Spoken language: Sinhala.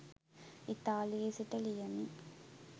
ඉතාලියේ සිට ලියමි